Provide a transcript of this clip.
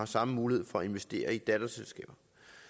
samme mulighed for at investere i datterselskaber